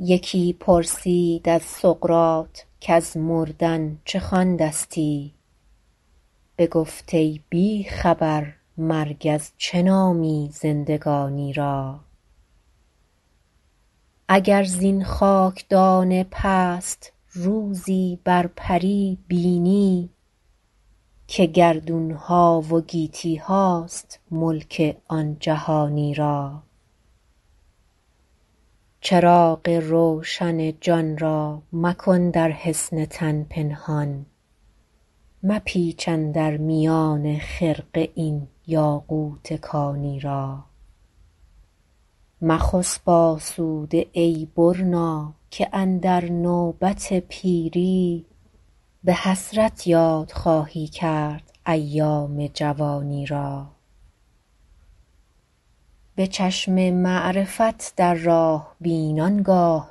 یکی پرسید از سقراط کز مردن چه خواندستی بگفت ای بی خبر مرگ از چه نامی زندگانی را اگر زین خاکدان پست روزی بر پری بینی که گردون ها و گیتی هاست ملک آن جهانی را چراغ روشن جان را مکن در حصن تن پنهان مپیچ اندر میان خرقه این یاقوت کانی را مخسب آسوده ای برنا که اندر نوبت پیری به حسرت یاد خواهی کرد ایام جوانی را به چشم معرفت در راه بین آنگاه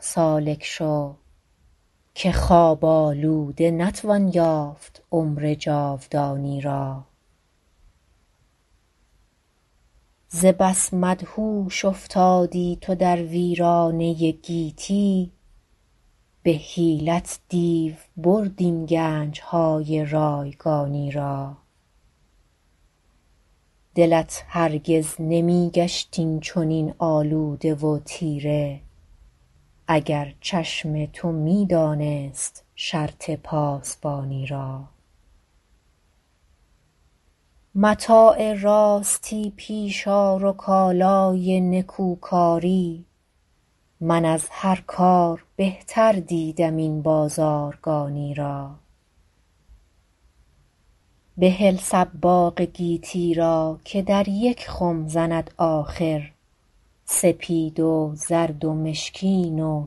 سالک شو که خواب آلوده نتوان یافت عمر جاودانی را ز بس مدهوش افتادی تو در ویرانه گیتی به حیلت دیو برد این گنج های رایگانی را دلت هرگز نمی گشت این چنین آلوده و تیره اگر چشم تو می دانست شرط پاسبانی را متاع راستی پیش آر و کالای نکوکاری من از هر کار بهتر دیدم این بازارگانی را بهل صباغ گیتی را که در یک خم زند آخر سپید و زرد و مشکین و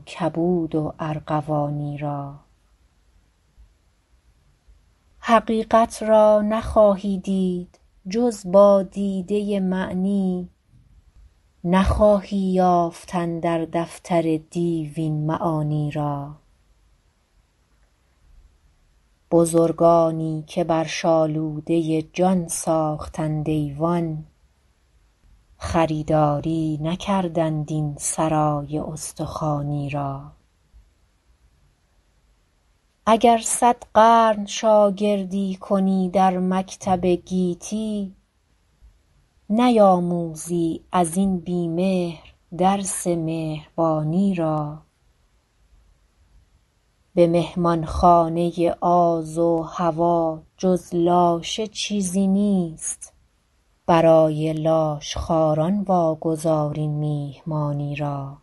کبود و ارغوانی را حقیقت را نخواهی دید جز با دیده معنی نخواهی یافتن در دفتر و دیوان معانی را بزرگانی که بر شالوده جان ساختند ایوان خریداری نکردند این سرای استخوانی را اگر صد قرن شاگردی کنی در مکتب گیتی نیاموزی ازین بی مهر درس مهربانی را به مهمانخانه آز و هوی جز لاشه چیزی نیست برای لاشخواران واگذار این میهمانی را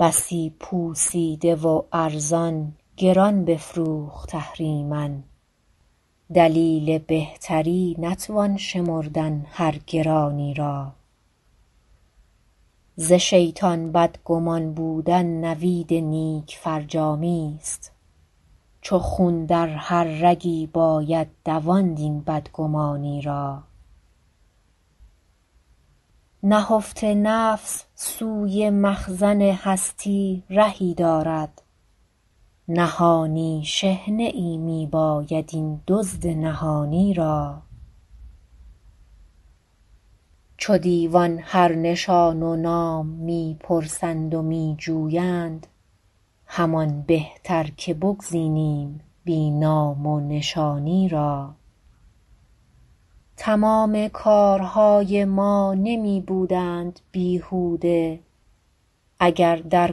بسی پوسیده و ارزان گران بفروخت اهریمن دلیل بهتری نتوان شمردن هر گرانی را ز شیطان بدگمان بودن نوید نیک فرجامی ست چو خون در هر رگی باید دواند این بدگمانی را نهفته نفس سوی مخزن هستی رهی دارد نهانی شحنه ای می باید این دزد نهانی را چو دیوان هر نشان و نام می پرسند و می جویند همان بهتر که بگزینیم بی نام و نشانی را تمام کارهای ما نمی بودند بیهوده اگر در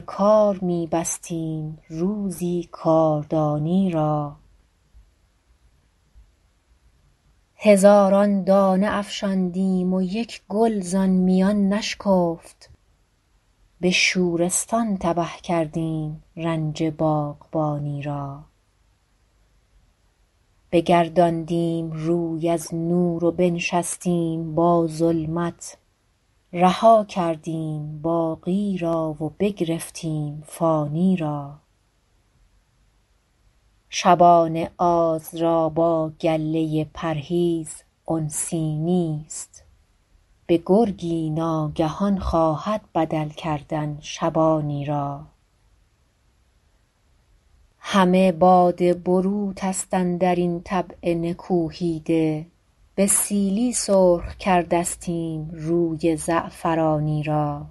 کار می بستیم روزی کاردانی را هزاران دانه افشاندیم و یک گل ز آن میان نشکفت به شورستان تبه کردیم رنج باغبانی را بگرداندیم روی از نور و بنشستیم با ظلمت رها کردیم باقی را و بگرفتیم فانی را شبان آز را با گله پرهیز انسی نیست به گرگی ناگهان خواهد بدل کردن شبانی را همه باد بروت است اندرین طبع نکوهیده به سیلی سرخ کردستیم روی زعفرانی را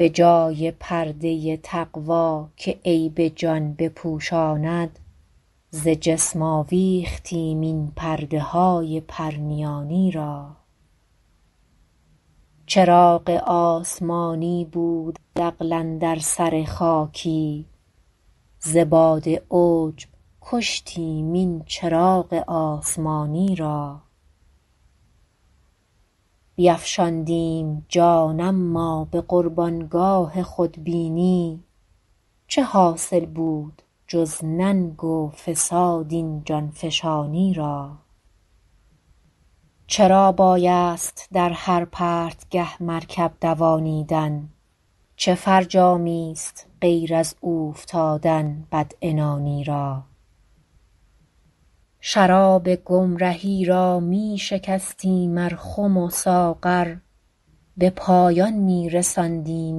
بجای پرده تقوی که عیب جان بپوشاند ز جسم آویختیم این پرده های پرنیانی را چراغ آسمانی بود عقل اندر سر خاکی ز باد عجب کشتیم این چراغ آسمانی را بیفشاندیم جان اما به قربان گاه خودبینی چه حاصل بود جز ننگ و فساد این جانفشانی را چرا بایست در هر پرتگه مرکب دوانیدن چه فرجامی است غیر از اوفتادن بدعنانی را شراب گمرهی را می شکستیم ار خم و ساغر به پایان می رساندیم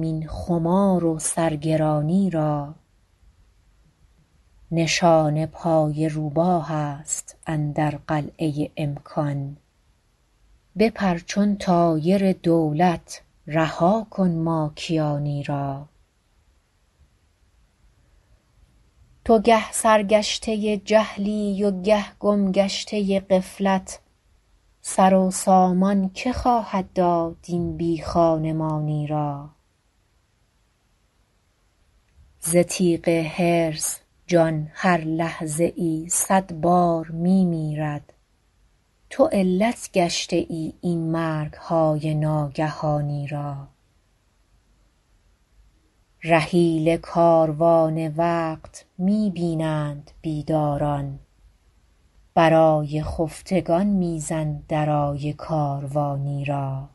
این خمار و سرگرانی را نشان پای روباه است اندر قلعه امکان بپر چون طایر دولت رها کن ماکیانی را تو گه سرگشته جهلی و گه گم گشته غفلت سر و سامان که خواهد داد این بی خانمانی را ز تیغ حرص جان هر لحظه ای صد بار می میرد تو علت گشته ای این مرگ های ناگهانی را رحیل کاروان وقت می بینند بیداران برای خفتگان می زن درای کاروانی را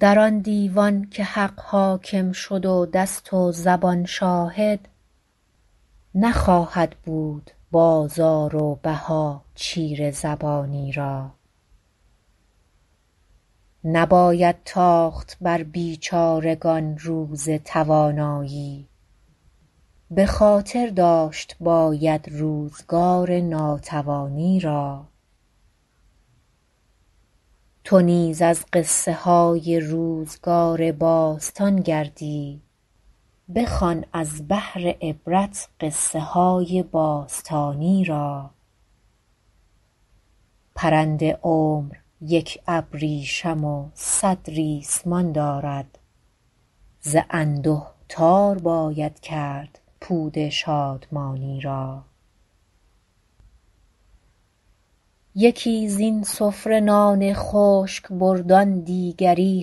در آن دیوان که حق حاکم شد و دست و زبان شاهد نخواهد بود بازار و بها چیره زبانی را نباید تاخت بر بیچارگان روز توانایی به خاطر داشت باید روزگار ناتوانی را تو نیز از قصه های روزگار باستان گردی بخوان از بهر عبرت قصه های باستانی را پرند عمر یک ابریشم و صد ریسمان دارد ز انده تار باید کرد پود شادمانی را یکی زین سفره نان خشک برد آن دیگری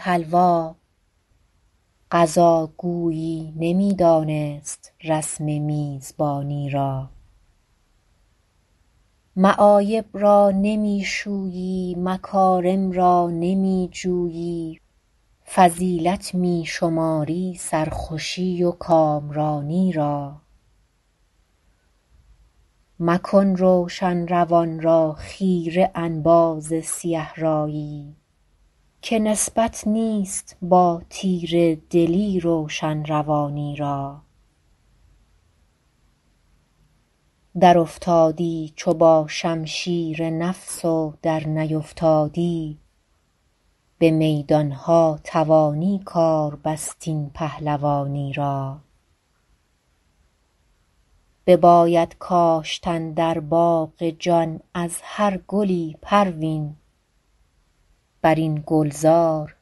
حلوا قضا گویی نمی دانست رسم میزبانی را معایب را نمی شویی مکارم را نمی جویی فضیلت می شماری سرخوشی و کامرانی را مکن روشن روان را خیره انباز سیه رایی که نسبت نیست با تیره دلی روشن روانی را درافتادی چو با شمشیر نفس و در نیفتادی به میدان ها توانی کار بست این پهلوانی را بباید کاشتن در باغ جان از هر گلی پروین بر این گلزار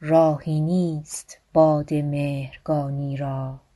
راهی نیست باد مهرگانی را